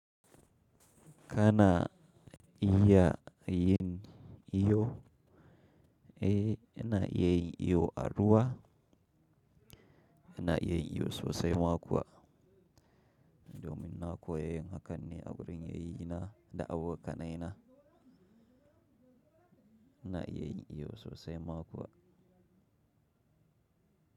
Kana iya yin iyo, ina iya yin iyo aruwa, ina iya yin iyo sosai makuwa. Domin na koya haka ne a wurin yayyins da abokanayina. Ina iya yin iyo sosai makuwa.